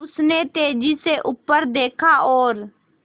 उसने तेज़ी से ऊपर देखा और